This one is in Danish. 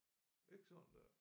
Ikke sådan der